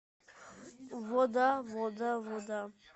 вода вода вода